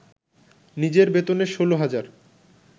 নিজের বেতনের ১৬ হাজার